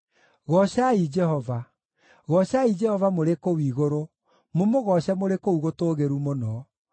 Goocai Jehova. Goocai Jehova mũrĩ kũu igũrũ, mũmũgooce mũrĩ kũu gũtũũgĩru mũno.